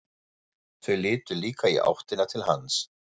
Þau litu líka í áttina til hans.